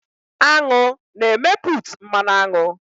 Aṅụ na-emeput mmanụ aṅụ